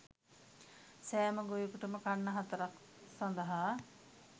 සෑම ගොවියකුටම කන්න හතරක් සඳහා